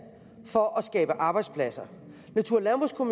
for at skabe arbejdspladser natur